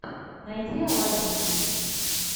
найди аладдин